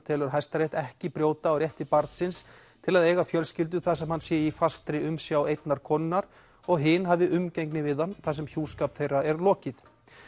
telur Hæstarétt ekki brjóta á rétti barnsins til að eiga fjölskyldu þar sem hann sé í fastri umsjá einnar konunnar og hin hafi umgengni við hann þar sem hjúskap þeirra er lokið